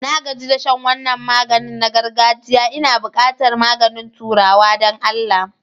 Na gaji da shan wannan maganin na girgajia Ina buƙatar maganin turawa don Allah.